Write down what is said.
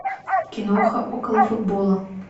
киноха около футбола